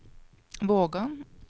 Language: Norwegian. Vågan